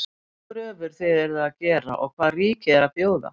Hvaða kröfur þið eruð að gera og hvað ríkið er að bjóða?